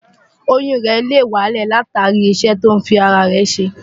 Oyún rẹ̀ lè wálẹ̀ látàrí iṣẹ́ tó ń fi ara rẹ̀ ṣe.